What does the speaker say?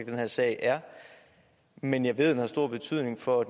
den her sag er men jeg ved at den har stor betydning for